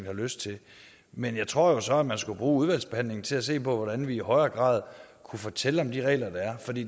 har lyst til men jeg tror jo så at man skulle bruge udvalgsbehandlingen til at se på hvordan vi i højere grad kunne fortælle om de regler der er for det